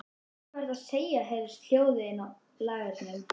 Ó, hvað ertu að segja, heyrðist hljóðað inni á lagernum.